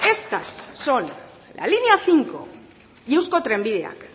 estas son la línea cinco y eusko trenbideak